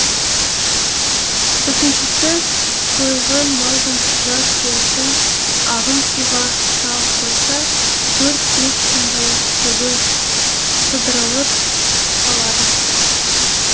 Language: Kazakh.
үшіншісі сойылған малдың жас терісін ағын суға салып қойса төрт бес күнде түгі сыдырылып түсіп қалады